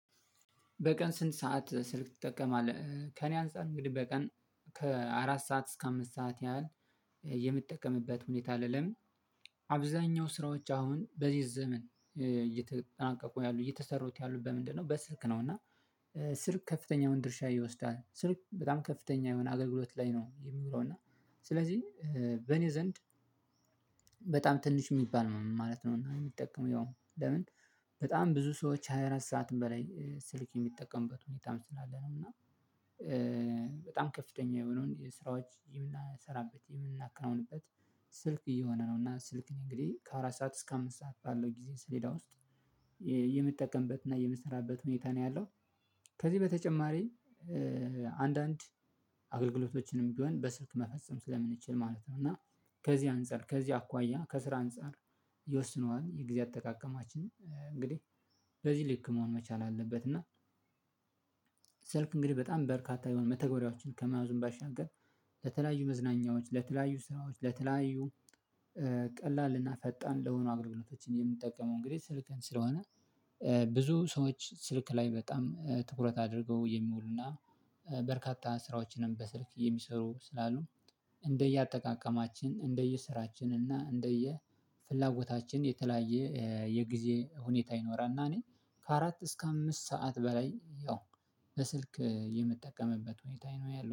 በቀን ስንት ሰዓት ስልክ ትጠቀማለህ? ከእኔ አንፃር እንግዲህ በቀን ከአራት ሰዓት እስከ አምስት ሰዓት ያህል የምጠቀምበት ሁኔታ አለ። አብዛኛው ስራዎች አሁን በዚህ ዘመን እየተጠናቀቁ ያሉ እየተሰሩት ያሉ በምንድነው በስልክ ነው። እና ስልክ ከፍተኛውን ድርሻ ይወስዳል ስልክ በጣም ከፍተኛ የሆነ አገልግሎት ላይ ነው የሚመጣው። እና ስለዚህ በኔ ዘንድ በጣም ትንሽ እሚባል ነው ማለት ነው። እና የሚጠቀመው ያው ለምን በጣም ብዙ ሰዎች ሃያ አራት ሰዓትን በላይ ስልክ የሚጠቀሙበት ሁኔታም ስላለ ነው። እና በጣም ከፍተኛ የሆነውን ስራዎች የምናሰራበት የምናከናውንበት ስልክ እየሆነ ነው። እና ስልክ እኔ እንግዲህ ከአራት ሰዓት እስከ አምስት ሰዓት ባለው ጊዜ ስሌዳ ውስጥ የምጠቀምበትና የምሰራበት ሁኔታ ነው ያለው። ከዚህ በተጨማሪ አንዳንድ አገልግሎቶችንም ቢሆን በስልክ መፈጸም ስለምንችል ማለት ነው። እና ከዚህ አንፃር ከዚህ አኳያ ከስራ አንፃር ይወስነዋል። የጊዜ አጠቃቀማችን እንግዲህ በዚህ ልክ መሆን መቻል አለበት። እና ስልክ እንግዲህ በጣም በርካታ የሆነ መተገበሪያዎችን ከመያዙም ባሻገር ለተለያዩ መዝናኛዎች ለተለያዩ ስራዎች ለተለያዩ ቀላል እና ፈጣን ለሆኑ አገልግሎቶችን የምንጠቀመው እንግዲህ ስልክን ስለሆነ። ብዙ ሰዎች ስልክ ላይ በጣም ትኩረት አድርገው የሚውሉና በርካታ ስራዎችንም በስልክ የሚሰሩ ስላሉ እንደየአጠቃቀማችን እንደየስራችን እና እንደየፍላጎታችን የተለያየ የጊዜ ሁኔታ ይኖራል። እና እኔ ከአራት እስከ አምስት ሰዓት በላይ ያው በስልክ የምጠቀምበት ሁኔታ ነው ያለው